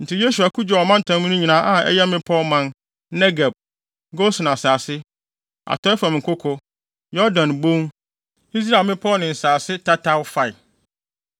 Enti Yosua ko gyee ɔmantam no nyinaa a ɛyɛ mmepɔw man, Negeb, Gosen asase, atɔe fam nkoko, Yordan Bon, Israel mmepɔw ne nsase tataw fae.